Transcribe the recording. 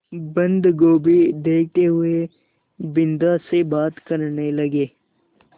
बन्दगोभी देखते हुए बिन्दा से बात करने लगे